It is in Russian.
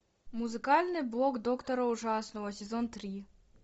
музыкальный блог доктора ужасного сезон три